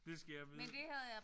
Det skal jeg vide